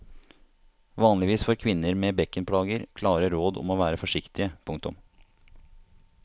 Vanligvis får kvinner med bekkenplager klare råd om å være forsiktige. punktum